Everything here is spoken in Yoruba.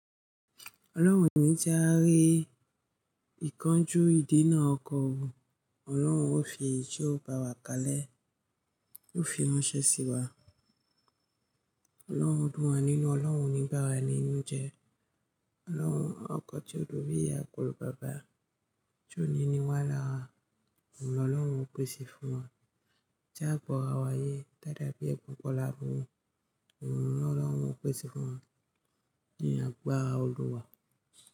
Ọlọ́run ní tí a rí ìkanjú ìdénà ọkọ òun, Ọlọ́run ó fi ijó bá wa kalẹ́, ó fi ránṣẹ́ sí wa. Ọlọ́run dùn wá nínú, Ọlọ́run ní bá wa nínú jẹ́. Ọlọ́run, ọkọ tí ó lù bí i àgùnfọn bàbá, tí ó ní ní wá lára, òun lọ̀ Ọlọ́run ó pèsè fún wa. Tí a kọra wá ayé dáadáa bí ẹkún kọlà fún un, òun lọ̀ Ọlọ́run ó pèsè fún wa. Nìyà gba ara Olúwa.